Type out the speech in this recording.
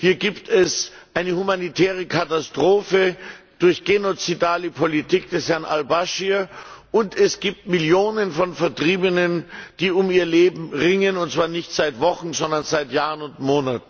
Hier gibt es eine humanitäre Katastrophe durch genozidale Politik des Herrn al Baschir und es gibt Millionen von Vertriebenen, die um ihr Leben ringen, und zwar nicht seit Wochen, sondern seit Monaten und Jahren.